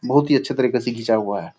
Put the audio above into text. बहुत ही अच्छे तरीके से घीचा हुआ है।